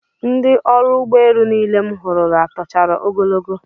Ndị ọrụ ụgbọelu niile m hụrụla tochara ogologo